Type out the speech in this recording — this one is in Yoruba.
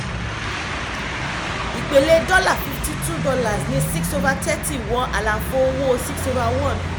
ìpele dọ́là fifty-two ní six over thirty wọ àlàfo owó six over one